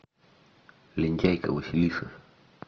лентяйка василиса